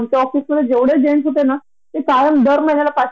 तरी किती समजून घेणार एकदा समजून घेणार, दोनदा समजून घेणार